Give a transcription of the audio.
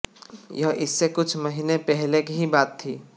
यह इससे कुछ महीने पहले की ही बात थी